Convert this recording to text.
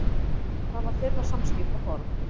Það var þeirra samskiptaform.